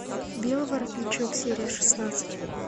белый воротничок серия шестнадцать